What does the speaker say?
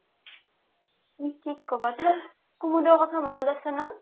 কি ক'বা কুমুদৰ কথা মনত আছে না